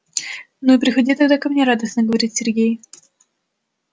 ну и приходи тогда ко мне радостно говорит сергей